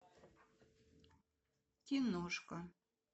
киношка